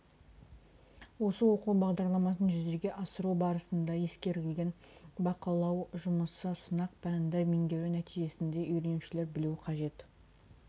осы оқу бағдарламасын жүзеге асыру барысында ескерілген бақылау жұмысы сынақ пәнді меңгеру нәтижесінде үйренушілер білуі қажет